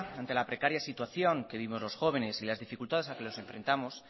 ante la precaria situación que vivimos los jóvenes y las dificultades a que nos enfrentamos